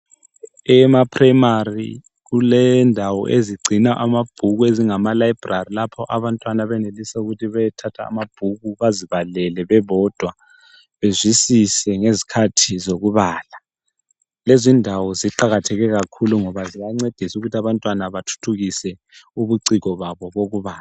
Ema primary kulendawo ezigcina amabhuku ezingama library lapho abantwana abenelisa ukuthi beyethatha amabhuku bezibalele bebodwa bezwisise ngezikhathi zokubala , lezindawo ziqakatheke kakhulu ngoba ziyancedisa ukuthi abantwana bathuthukise ubuciko babo bokubala